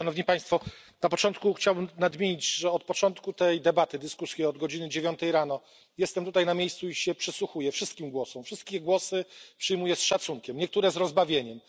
Na początku chciałbym nadmienić, że od początku tej debaty, od godziny dziewiątej rano jestem tutaj na miejscu i przysłuchuję się wszystkim głosom, wszystkie głosy przyjmuję z szacunkiem, niektóre z rozbawieniem.